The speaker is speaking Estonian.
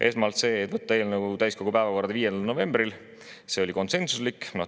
Esmalt selle, et võtta eelnõu täiskogu päevakorda 5. novembril, see oli konsensuslik.